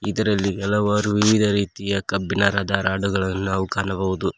ಇದರಲ್ಲಿ ಹಲವಾರು ವಿವಿಧ ರೀತಿಯ ಕಬ್ಬಿಣದ ರಾಡ್ ಗಳನ್ನು ನಾವು ಕಾಣಬಹುದು.